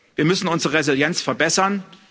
Wir müssen unsere Resilienz verbessern.